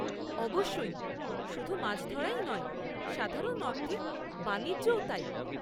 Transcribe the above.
অবশ্যই। শুধু মাছ ধরাই নয়, সাধারণ অর্থে বাণিজ্যও তাই।